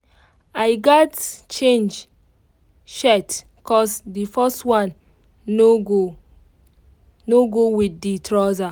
i gats change shirt cos the first one no go no go with the trouser.